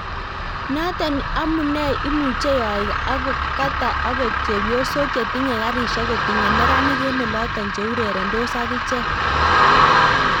natok amunei imuuche yoik ap kata agot chepyosok chetinye garisiek kotinye neranik en olotok cheurerendos agichek